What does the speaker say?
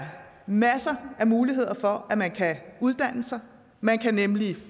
masser af muligheder for at man kan uddanne sig man kan nemlig